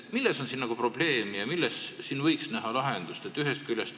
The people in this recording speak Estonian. Milles on siin probleem ja milles võiks näha lahendust?